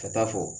Ka taa fɔ